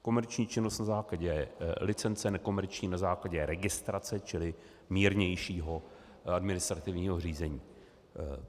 Komerční činnost na základě licence, nekomerční na základě registrace, čili mírnějšího administrativního řízení.